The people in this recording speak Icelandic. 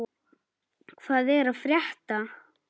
Hvað er að frétta!